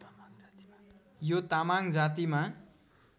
यो तामाङ जातिमा